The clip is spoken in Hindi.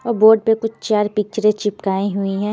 और बोर्ड पे कुछ चार पिक्चरें चिपकाई हुई हैं।